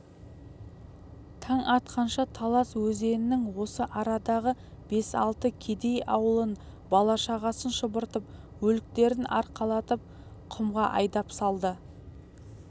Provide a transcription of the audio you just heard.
таң атқанша талас өзенінің осы арадағы бес-алты кедей ауылын бала-шағасын шұбыртып өліктерін арқалатып құмға айдап салды